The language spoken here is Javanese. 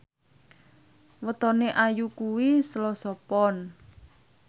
wetone Ayu kuwi Selasa Pon